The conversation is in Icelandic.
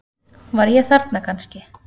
Var ég þarna kannski?